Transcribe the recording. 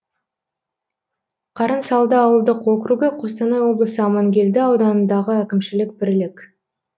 қарынсалды ауылдық округі қостанай облысы амангелді ауданындағы әкімшілік бірлік